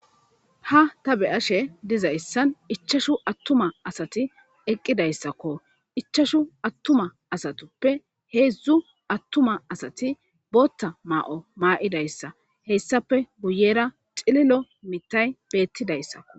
ha ta be'ashe dizayssan ichashu attuma asati eqqidayssakko ichashu attuma asatuppe heedzdzu attuma asati bootta maa'o maa'idayssa hessape guyera cililo mitay beettidayssako